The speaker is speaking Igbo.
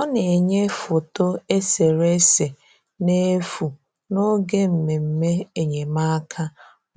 Ọ na-enyè foto eserese n’efu n’oge mmemme enyemáka